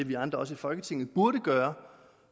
vi andre i folketinget burde gøre